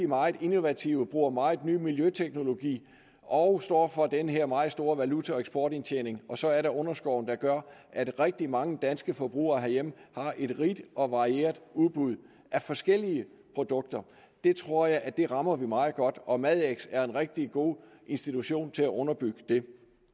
meget innovative og bruger meget ny miljøteknologi og står for den her meget store valuta og eksportindtjening og så er der underskoven der gør at rigtig mange danske forbrugere herhjemme har et rigt og varieret udbud af forskellige produkter det tror jeg at vi rammer meget godt og madx er en rigtig god institution til at underbygge det